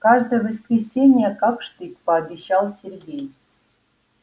каждое воскресенье как штык пообещал сергей